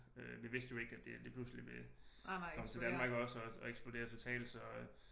Vi vidste jo ikke at det lige pludseligt ville komme til Danmark også og eksplodere totalt så